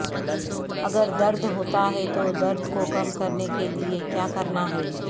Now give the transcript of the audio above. اگر درد ہوتا ہے تو درد کو کم کرنے کے لئے کیا کرنا ہے